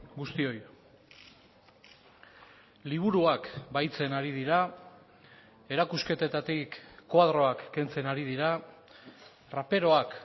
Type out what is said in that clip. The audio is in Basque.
guztioi liburuak bahitzen ari dira erakusketetatik koadroak kentzen ari dira raperoak